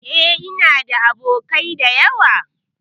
E, ina da abokai da yawa.